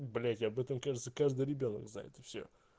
блять об этом кажется каждый ребёнок знает и все